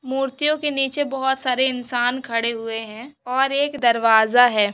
मूर्तियों के नीचे बहुत सारे इंसान खड़े हुए है और एक दरवाजा है।